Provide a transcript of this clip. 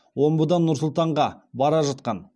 омбыдан нұр сұлтанға бара жатқан